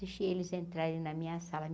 Deixei eles entrarem na minha sala.